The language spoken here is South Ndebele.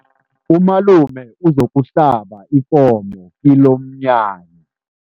Umalume uzokuhlaba ikomo kilomnyanya.